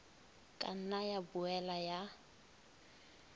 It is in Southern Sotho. ka nna ya boela ya